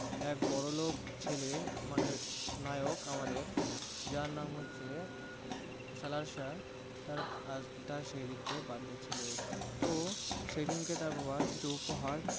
এক বড়োলোক ছেলে মানে নায়ক আমাদের যার নাম হচ্ছে খালাসা, তার সেদিনটায় birthday ছিল। তো সেদিনকে তার বাবা কিছু উপহার